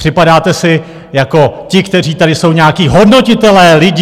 Připadáte si jako ti, kteří tady jsou nějací hodnotitelé lidí.